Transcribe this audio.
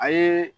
A ye